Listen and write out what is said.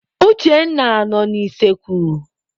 Uchenna nọ n'useekwu.